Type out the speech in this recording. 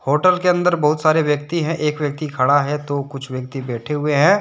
Hotel के अंदर बहुत सारे व्यक्ति हैं एक व्यक्ति खड़ा है तो कुछ व्यक्ति बैठे हुए हैं।